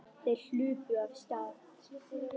Þeir hlupu af stað.